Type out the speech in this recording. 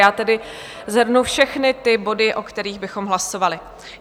Já tedy shrnu všechny ty body, o kterých bychom hlasovali.